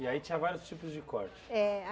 E aí tinha vários tipos de corte. É.